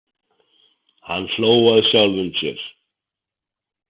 Hann hló að sjálfum sér.